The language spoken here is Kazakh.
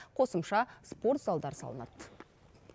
қосымша спорт залдары салынады